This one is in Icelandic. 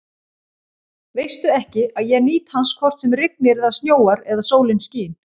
Veistu ekki, að ég nýt hans hvort sem rignir eða snjóar eða sólin skín?